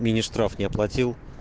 мини штраф не оплатил